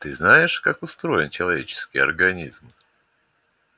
ты знаешь как устроен человеческий организм